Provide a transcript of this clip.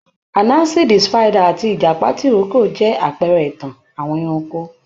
Anansi the Spider àti ìjàpá tìrókò jẹ́ àpẹẹrẹ ìtàn àwọn ẹranko